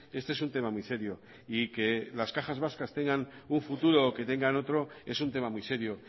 este es un tema muy serio y que las cajas vascas tengan un futuro o que tengan otro es un tema muy serio